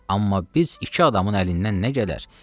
Amma biz iki adamın əlindən nə gələr?